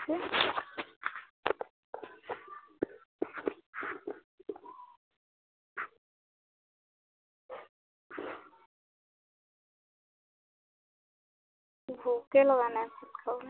ভোকেই লগা নাই চোন খাবলে